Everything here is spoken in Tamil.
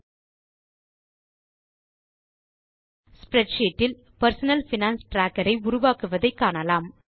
ஸ்ப்ரெட்ஷீட் இல் பெர்சனல் பைனான்ஸ் ட்ராக்கர் ஐ உருவாக்குவதை காணலாம்